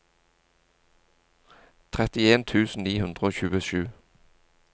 trettien tusen ni hundre og tjuesju